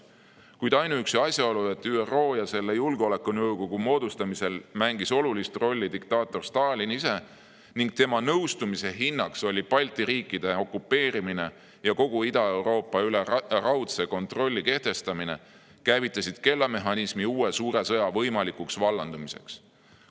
Kuid ainuüksi asjaolu, et ÜRO ja selle julgeolekunõukogu moodustamisel mängis olulist rolli diktaator Stalin ise ning tema nõustumise hinnaks oli Balti riikide okupeerimine ja kogu Ida-Euroopa üle raudse kontrolli kehtestamine, käivitas kellamehhanismi uue suure sõja võimalikuks vallandumiseks.